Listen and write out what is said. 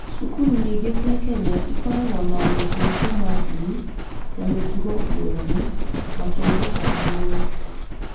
Cukuru nyingĩ cia Kenya ikoragwo na arutwo kuma ndini na mĩtugo ngũrani, makĩruta hamwe.